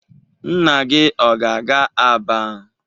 Nna gị ọ ga-aga Aba?